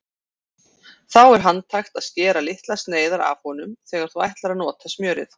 Þá er handhægt að skera litlar sneiðar af honum þegar þú ætlar að nota smjörið.